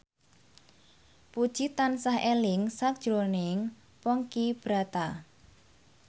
Puji tansah eling sakjroning Ponky Brata